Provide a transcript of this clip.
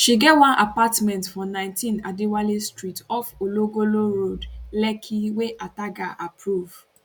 she get one apartment for 19 adewale street off ologolo road lekki wey ataga approve